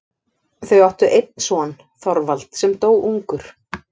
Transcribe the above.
Þau áttu einn son, Þorvald, sem dó ungur.